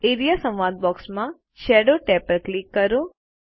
A R E A સંવાદ box માં shadow tab પર ક્લિક કરો